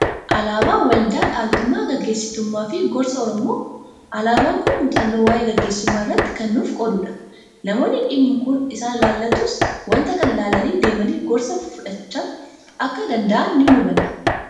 Alaabaa waldaa dhaaltummaa gaggeessitummaa fi gorsaa Oromoo. Alaabaan kun muuxannoo waa'ee gaggeessummaa irratti kan nuuf qoodudha. Namoonni dhimmi kun isaan ilaallatus waanta kana ilaalanii deemanii gorsa fidhachuu akka danda'an ni hubanna.